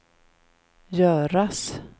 göras